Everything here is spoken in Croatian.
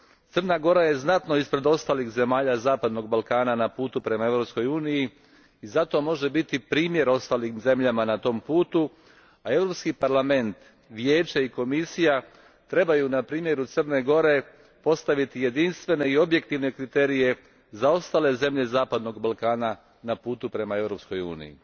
Crna Gora je znatno ispred ostalih zemalja zapadnog Balkana na putu prema Europskoj uniji i zato može biti primjer ostalim zemljama na tom putu, a Europski parlament, Vijeće i Komisija trebaju na primjeru Crne Gore postaviti jedinstvene i objektivne kriterije za ostale zemlje zapadnog Balkana na putu prema Europskoj uniji.